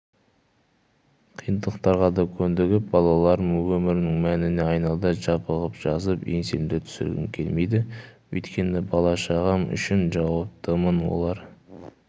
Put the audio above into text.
қиындықтарға да көндігіп балаларым өмірімнің мәніне айналды жабығып-жасып еңсемді түсіргім келмейді өйткені бала-шағам үшін жауаптымын олар